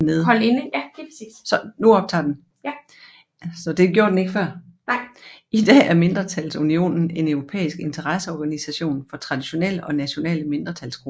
I dag er mindretalsunionen en europæisk interesseorganisation for traditionelle og nationale mindretalsgrupper